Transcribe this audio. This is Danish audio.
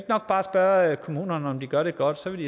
nok bare spørge kommunerne om de gør det godt så vil